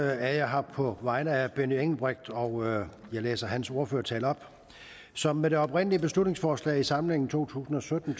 er jeg her på vegne af herre benny engelbrecht og jeg læser hans ordførertale op som ved det oprindelige beslutningsforslag fra samlingen to tusind og sytten